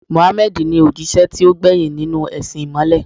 Muhammad ni òjíṣẹ́ tó gbẹ̀yìn nínú u ẹ̀sìn ìmọ̀le